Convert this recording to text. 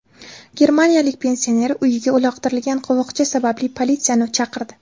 Germaniyalik pensioner uyiga uloqtirilgan qovoqcha sababli politsiyani chaqirdi.